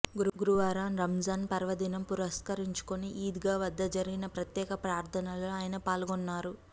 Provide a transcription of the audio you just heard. గురువారం రంజాన్ పర్వదినం పురస్కరించుకొని ఈద్గా వద్ద జరిగిన ప్రత్యేక ప్రార్థనల్లో ఆయన పాల్గొన్నారు